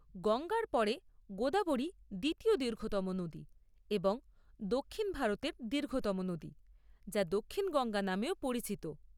গঙ্গার পরে গোদাবরী দ্বিতীয় দীর্ঘতম নদী এবং দক্ষিণ ভারতের দীর্ঘতম নদী, যা 'দক্ষিণ গঙ্গা' নামেও পরিচিত।